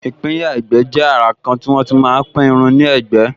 ìpínyà ẹ̀gbẹ́ jẹ́ àrà kan tí wọ́n tí máa pín irun ní ẹ̀gbẹ́